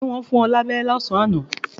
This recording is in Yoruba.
Ṣé wọn fún ẹ ní aberé lásán àná?